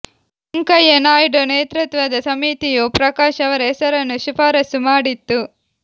ವೆಂಕಯ್ಯ ನಾಯ್ಡು ನೇತೃತ್ವದ ಸಮಿತಿಯು ಪ್ರಕಾಶ್ ಅವರ ಹೆಸರನ್ನು ಶಿಫಾರಸು ಮಾಡಿತ್ತು